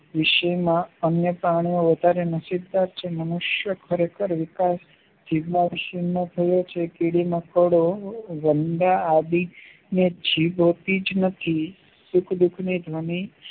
વિષય માં અન્ય પ્રાણીઓ વધારે નસીબદાર છે મનુષ્ય ખરેખર વિકાસ શીલ જિજ્ઞાશીમાં થયો છે કીડી મકોડો રમવા આવી અને જીભથી જ નહિ સુખ દુખની